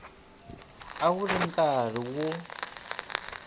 a wu ri karhi wu